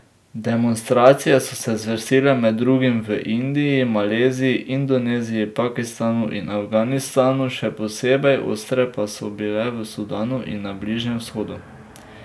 Demonstracije so se zvrstile med drugim v Indiji, Maleziji, Indoneziji, Pakistanu in Afganistanu, še posebej ostre pa so bile v Sudanu in na Bližnjem vzhodu.